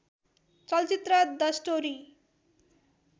चलचित्र the story